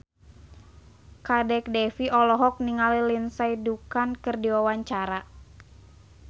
Kadek Devi olohok ningali Lindsay Ducan keur diwawancara